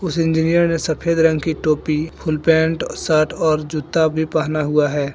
इस इंजिनियर ने सफेद रंग की टोपी फूल पेंट शर्ट और जूता भी पहना हुआ है।